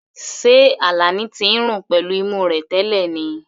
Ṣé Alani ti ń rùn pẹ̀lú imú rẹ̀ tẹ́lẹ̀ ni?